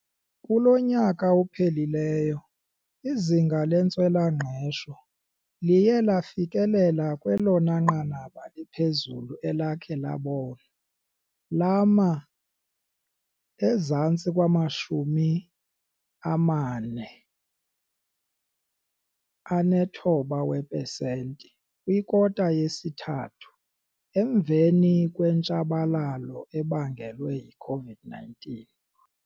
Kulo nyaka uphelileyo, izinga lentswela-ngqesho liye lafikelela kwelona nqanaba liphezulu elakhe labonwa lama ezantsi kwama-49 weepesenti kwikota yesithathu, emveni kwentshabalalo ebangelwe yi-COVID-19.